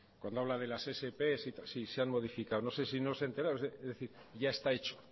cuando habla de las sps sí se han modificado no sé si no se ha enterado es decir ya está hecho